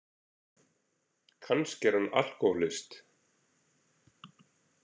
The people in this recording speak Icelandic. Kannski er hann alkóhólist.